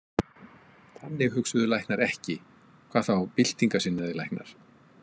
Þannig hugsuðu læknar ekki, hvað þá byltingarsinnaðir læknar.